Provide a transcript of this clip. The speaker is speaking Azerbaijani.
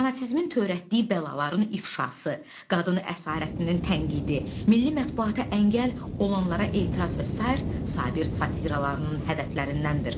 Fanatizmin törətdiyi bəlaların ifşası, qadın əsarətinin tənqidi, milli mətbuata əngəl olanlara etiraz və sair Sabir satirasının hədəflərindəndir.